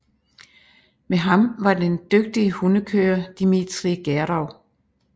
Med ham var var den dygtige hundekører Dimitri Gerov